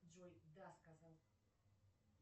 джой да сказал